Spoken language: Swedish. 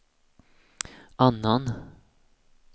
annan